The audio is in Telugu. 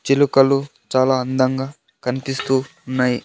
చిలుకలు చాలా అందంగా కనిపిస్తూ ఉన్నాయి.